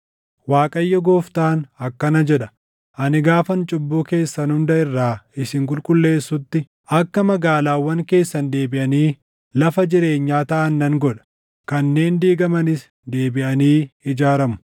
“‘ Waaqayyo Gooftaan akkana jedha: Ani gaafan cubbuu keessan hunda irraa isin qulqulleessutti, akka magaalaawwan keessan deebiʼanii lafa jireenyaa taʼa nan godha; kanneen diigamanis deebiʼanii ijaaramu.